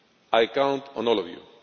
I count on all of you.